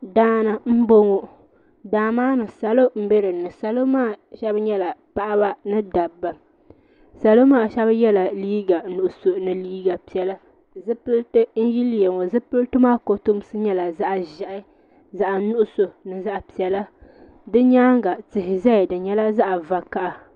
Daani n bɔŋɔ daa maa ni salo n bɛ dini salo maa shɛba yiɛla paɣaba ni dabba salo maa shɛba yela liiga nuɣiso ni liiga piɛlla zupiliti n nyili ŋɔ zupiliti n nyili ŋɔ zupiliti maa kotomsi nyɛla zaɣi ʒehi zaɣi nuɣiso ni zaɣi piɛlla di yɛanga tihi zaya di yɛla zaɣi vakaha.